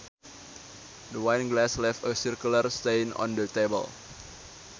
The wine glass left a circular stain on the table